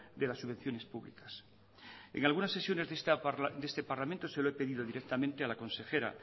de las subvenciones públicas en algunas sesiones de este parlamento se lo he pedido directamente a la consejera